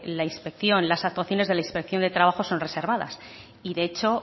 las actuaciones de la inspección de trabajo son reservadas y de hecho